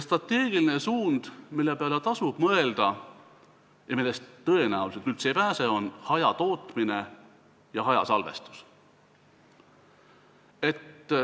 Strateegiline suund, mille peale tasub mõelda ja millest tõenäoliselt ei pääse, on hajatootmine ja hajasalvestus.